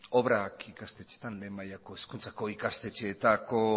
obrak lehen mailako hezkuntzako ikastetxeetako